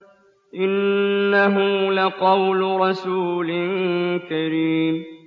إِنَّهُ لَقَوْلُ رَسُولٍ كَرِيمٍ